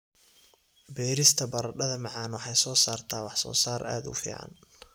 Beerista baradhada macaan waxay soo saartaa wax soo saar aad u fiican.